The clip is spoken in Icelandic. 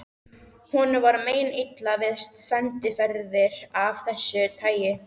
Honum var meinilla við sendiferðir af þessu tagi.